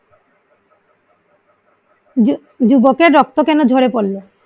জু যুবকের রক্ত কেন ঝরে পড়লো?